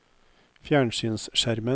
fjernsynsskjermen